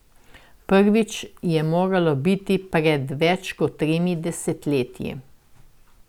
Prvič je moralo biti pred več kot tremi desetletji.